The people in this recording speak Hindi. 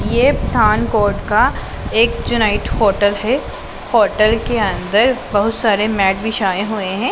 ये पठान कोड का एक चुनाइट होटल है होटल के अन्दर बहुत सारे मैट बिछाये हुए है।